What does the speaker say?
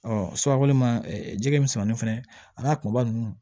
surakoli ma jɛgɛ misɛnmanin fɛnɛ a n'a kumaba ninnu